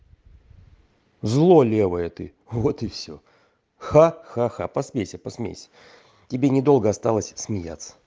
зло левое ты вот и все ха-ха-ха посмейся посмейся тебе недолго осталось смеяться